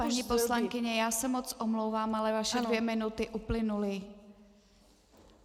Paní poslankyně, já se moc omlouvám, ale vaše dvě minuty uplynuly.